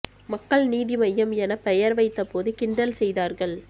மக்கள் நீதி மய்யம் என பெயர் வைத்த போது கிண்டல் செய்தார்கள்